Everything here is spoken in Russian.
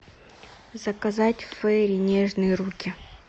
заказать фейри нежные руки